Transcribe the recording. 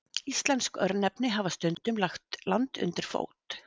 Íslensk örnefni hafa stundum lagt land undir fót.